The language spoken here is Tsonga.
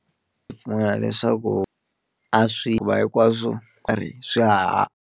leswaku a swi hikuva hinkwaswo swa .